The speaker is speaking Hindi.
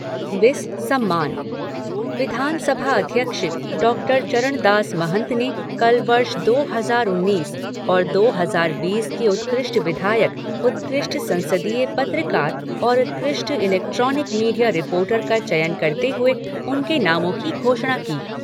विस सम्मान विधानसभा अध्यक्ष डॉक्टर चरणदास महंत ने कल वर्ष दो हजार उन्नीस और दो हजार बीस के उत्कृष्ट विधायक, उत्कृष्ट संसदीय पत्रकार और उत्कृष्ट इलेक्ट्रॉनिक मीडिया रिपोर्टर का चयन करते हुए उनके नामों की घोषणा की।